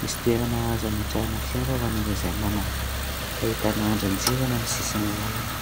misy toerana azo hametrahana fiara ho an'ireo izay manana. Ahitana andrin-jiro eny amin'ny sisiny lalàna.